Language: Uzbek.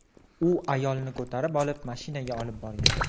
U ayolni ko‘tarib olib, mashinaga olib borgan.